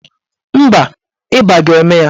Mba, ịba ga-eme ya.